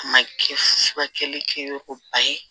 A ma kɛ furakɛli kɛyɔrɔba ye